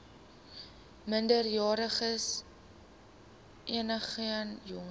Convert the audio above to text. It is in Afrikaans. minderjariges enigeen jonger